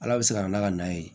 Ala bɛ se ka na n'a ka na ye